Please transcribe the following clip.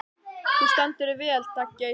Þú stendur þig vel, Daggeir!